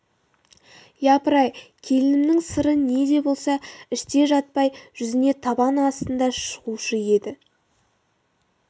япырай келінімнің сыры не де болса іште жатпай жүзіне табан астында шығушы еді